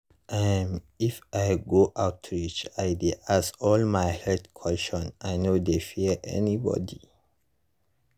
um if i go outreach i dey ask all my health questions i no dey fear anybody.